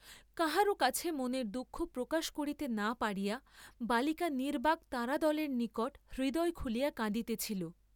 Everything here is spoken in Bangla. কাহারও কাছে মনের দুঃখ প্রকাশ করিতে না পারিয়া বালিকা নির্ব্বাক্ তারাদলের নিকট হৃদয় খুলিয়া কাঁদিতেছিল।